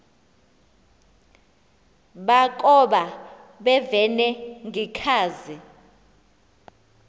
bakoba bevene ngekhazi